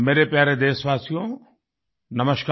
मेरे प्यारे देशवासियो नमस्कार